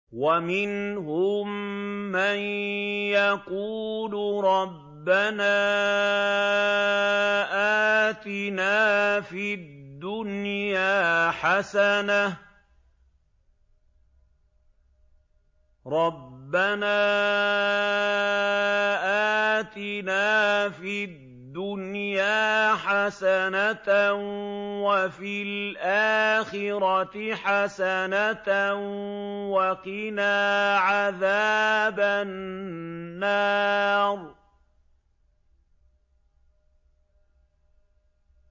وَمِنْهُم مَّن يَقُولُ رَبَّنَا آتِنَا فِي الدُّنْيَا حَسَنَةً وَفِي الْآخِرَةِ حَسَنَةً وَقِنَا عَذَابَ النَّارِ